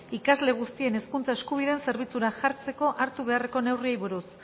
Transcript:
ikasle guztien hezkuntza eskubideen zerbitzura jartzeko hartu beharreko neurriei buruz